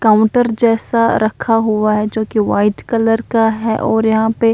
counter जैसा रखा हुआ हैं जो व्हाइट कलर का है और यहां पे--